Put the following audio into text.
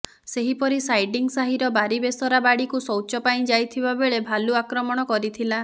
ସେହିପରି ସାଇଡିଂସାହିର ବାରି ବେସରା ବାଡ଼ିକୁ ଶୌଚ ପାଇଁ ଯାଇଥିବା ବେଳେ ଭାଲୁ ଆକ୍ରମଣ କରିଥିଲା